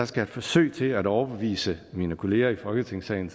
skal forsøg til at overbevise mine kollegaer i folketingssalen